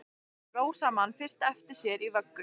Rósa man fyrst eftir sér í vöggu!